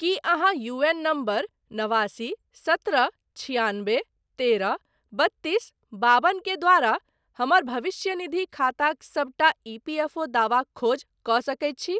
की अहाँ UAN number नवासी सत्रह छिआनबे तेरह बत्तीस बाबन के द्वारा हमर भविष्यनिधि खाताक सबटा ईपीएफओ दावाक खोज कऽ सकैत छी?